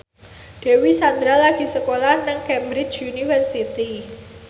Dewi Sandra lagi sekolah nang Cambridge University